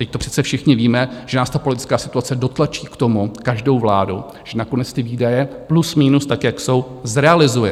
Vždyť to přece všichni víme, že nás ta politická situace dotlačí k tomu, každou vládu, že nakonec ty výdaje plus minus, tak jak jsou, zrealizuje.